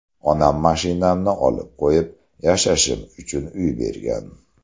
Onam mashinamni olib qo‘yib, yashashim uchun uy bergan.